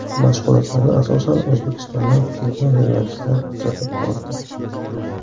Mashg‘ulotlarni, asosan, O‘zbekistondan kelgan jurnalistlar kuzatib bordi.